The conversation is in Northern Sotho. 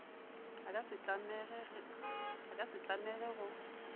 a ka se tlamege go